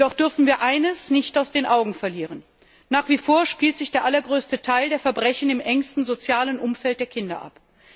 Jedoch dürfen wir eines nicht aus den Augen verlieren Nach wie vor spielt sich der allergrößte Teil der Verbrechen im engsten sozialen Umfeld der Kinder ab.